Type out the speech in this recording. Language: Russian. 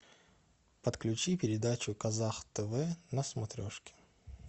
подключи передачу казах тв на смотрешке